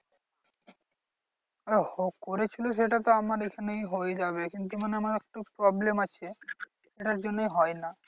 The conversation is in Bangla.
আহঃ ও করেছিল সেটা তো আমার এখানেই হয়ে যাবে কিন্তু আমার একটু problem আছে সেটার জন্যই হয় না।